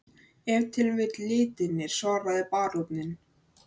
Ef til vill litirnir, svaraði baróninn.